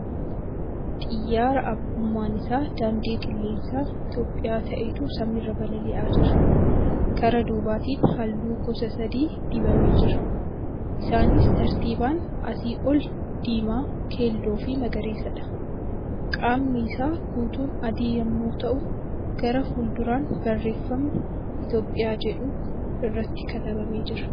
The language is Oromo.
Xiyyaara abbummaan isaa daandii qilleensa Itiyoophiyaa ta'etu samii irra balali'aa jira. Kara duubatiin halluu gosa sadii dibamed jira. Isaaniis tartiibaan asii ol diimaa, keelloo fi magariisadha. Qaamni isaa guutuun adii yemmuu ta'u gara fuulduraan barreefamni 'Itiyoophiyaa' jedhu irratti katabameera.